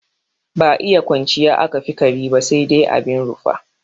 Ba iya kwanciya aka fi kare ba sai dai abin rufa.